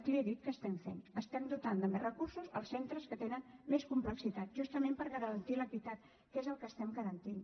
li he dit què estem fent estem dotant de més recursos els centres que tenen més complexitat justament per garantir l’equitat que és el que estem garantint